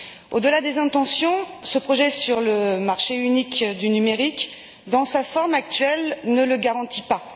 Au delà des intentions, ce projet sur le marché unique du numérique, dans sa forme actuelle, ne le garantit pas.